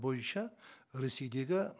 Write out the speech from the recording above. бойынша ресейдегі